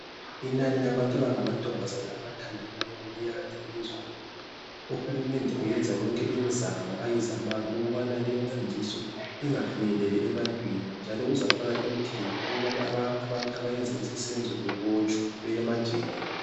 Inani labantu abangamankazana abathandanayo liyanda elizweni uhulumende uyenza yonke imizamo ayizamayo ukubana leyi mfundiso ingafinyeleli ebantwini njalo uzafaka imithetho ukubana abantu abayenza lesi senzo bebotshwe beye emajele.